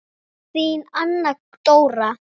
Þín Anna Dóra.